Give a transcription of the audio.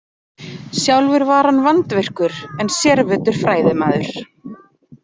Sjálfur var hann vandvirkur en sérvitur fræðimaður.